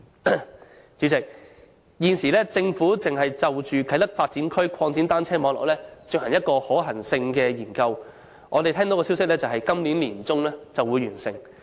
代理主席，政府現正就啟德發展區擴展單車徑網絡進行一項可行性研究，我們聽到的消息是今年年中將會完成。